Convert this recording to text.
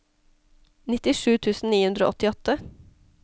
nittisju tusen ni hundre og åttiåtte